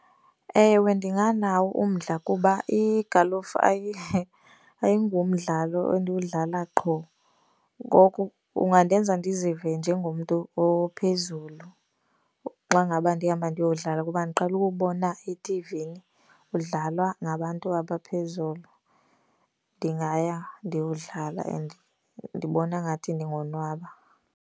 Ewe, ndinganawo umdla kuba igalufa ayingomdlalo endiwudlala qho. Ngoku kungandenza ndizive njengomntu ophezulu xa ngaba ndihamba ndiyowudlala kuba ndiqhele ukuwubona ethivini udlalwa ngabantu abaphezulu. Ndingaya ndiyowudlala and ndibona ngathi ndingonwaba.